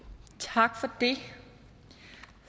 tak for det